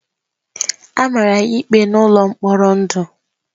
A mara ya ikpe n’ụlọ mkpọrọ ndụ.